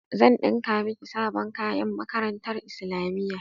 Zan ɗinka miki sabon kayan makarantar islamiyya.